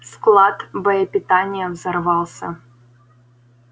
склад боепитания взорвался